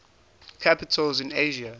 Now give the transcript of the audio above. capitals in asia